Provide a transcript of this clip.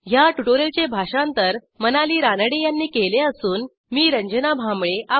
ह्या ट्युटोरियलचे भाषांतर मनाली रानडे यांनी केले असून मी आपला निरोप घेते160